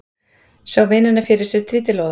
Sá vinina fyrir sér trítilóða.